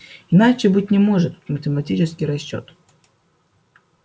иначе быть не может математический расчёт